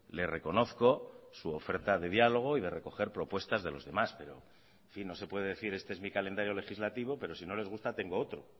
le reconozco su oferta de diálogo y de recoger propuesta de los demás pero en fin no se puede decir este es mi calendario legislativo pero si no les gusta tengo otro